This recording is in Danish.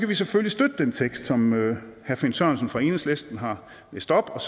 vi selvfølgelig støtte den tekst som herre finn sørensen fra enhedslisten har læst op og